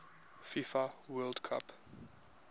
fifa world cup